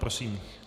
Prosím.